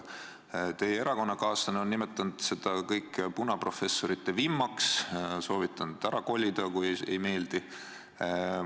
Teie erakonnakaaslane on nimetanud seda kõike punaprofessorite vimmaks, soovitanud ära kolida, kui ei meeldi.